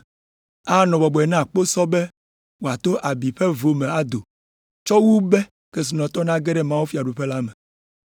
Anɔ bɔbɔe na kposɔ be wòato abi ƒe vo me ado, tsɔ wu be kesinɔtɔ nage ɖe mawufiaɖuƒe la me.”